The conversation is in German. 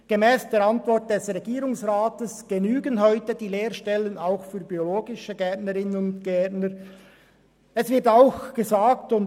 Gemäss der Antwort des Regierungsrats genügt das Lehrstellenangebot heute auch im Bereich des biologischen Gartenbaus.